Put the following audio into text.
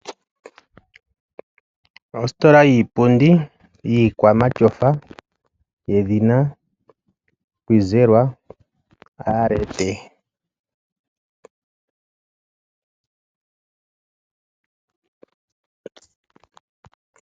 Ositola yiipundi yiikwamatyofa yedhina Kizerwa ART.